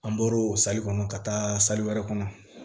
An bɔr'o sali kɔnɔ ka taa saribɛ kɔnɔ